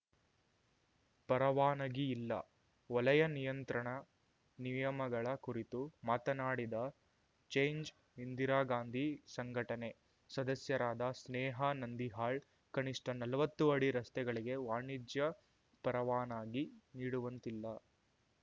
ಪರವಾನಗಿ ಇಲ್ಲ ವಲಯ ನಿಯಂತ್ರಣ ನಿಯಮಗಳ ಕುರಿತು ಮಾತನಾಡಿದ ಚೇಂಜ್‌ ಇಂದಿರಾಗಾಂಧಿ ಸಂಘಟನೆ ಸದಸ್ಯರಾದ ಸ್ನೇಹಾ ನಂದಿಹಾಳ್‌ ಕನಿಷ್ಠ ನಲ್ವತ್ತು ಅಡಿ ರಸ್ತೆಗಳಿಗೆ ವಾಣಿಜ್ಯ ಪರವಾನಗಿ ನೀಡುವಂತಿಲ್ಲ